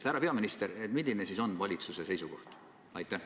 Härra peaminister, milline siis on valitsuse seisukoht?